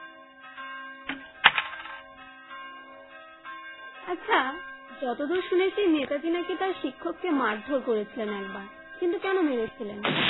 আচ্ছা যতদূর শুনেছি নেতাজী নাকি তার শিক্ষক কে ধরে মারধর করেছিলেন একবার কিন্তু কেনো মেরেছিলেন